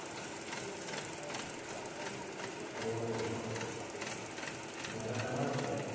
हो घरासमोरच आहे का?